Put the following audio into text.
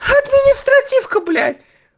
административка блять